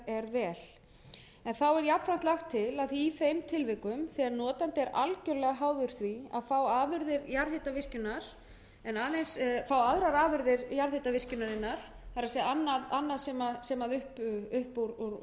vel en þá er jafnframt lagt til að í þeim tilvikum sem notandi er algerlega háður því að fá aðrar afurðir jarðhitavirkjunarinnar það er annað sem upp úr